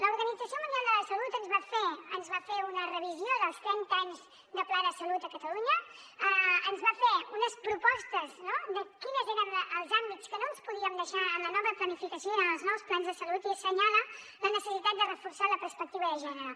l’organització mundial de la salut ens va fer una revisió dels trenta anys de pla de salut a catalunya ens va fer unes propostes no de quins eren els àmbits que no ens podíem deixar en la nova planificació i en els nous plans de salut i assenyala la necessitat de reforçar la perspectiva de gènere